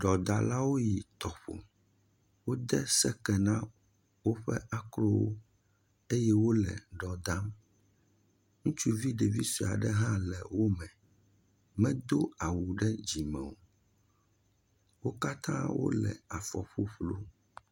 Ɖɔdalawo yi tɔƒo, wode seke na woƒe akrowo eye wole dɔ dam, ŋutsuvi ɖevi sue aɖe hã le wome, wodo awu ɖe dzime o, wo katã wole afɔ fuflu.